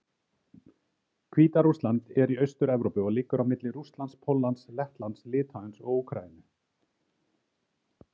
Hvíta-Rússland er í Austur-Evrópu og liggur á milli Rússlands, Póllands, Lettlands, Litháens og Úkraínu.